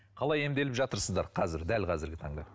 қалай емделіп жатырсыздар қазір дәл қазіргі таңда